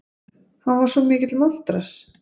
Hann var svo mikill montrass.